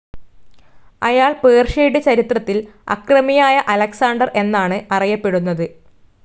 അയാൾ പേർഷ്യയുടെ ചരിത്രത്തിൽ അക്രമിയായ അലക്സാണ്ടർ എന്നാണ് അറിയപ്പെടുന്നത്.